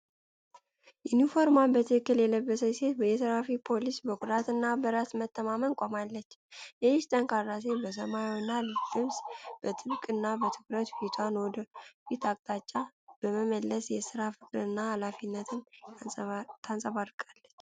ዩኒፎርሟን በትክክል የለበሰችው ሴት የትራፊክ ፖሊስ በኩራትና በራስ መተማመን ቆማለች። ይህች ጠንካራ ሴት በሰማያዊ ልብስና በጥብቅና በትኩረት ፊቷን ወደፊት አቅጣጫ በመመለስ የስራ ፍቅርና ሀላፊነትን ታንጸባርቃለች።